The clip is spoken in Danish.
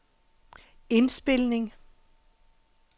indspilning